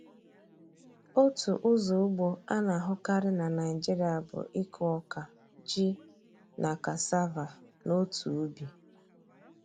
Otu ụzọ ugbo a na-ahụkarị na Naịjịrịa bụ ịkụ ọka, ji, na cassava n’otu ubi.